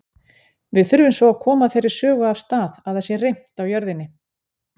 Við þurfum svo að koma þeirri sögu af stað að það sé reimt á jörðinni.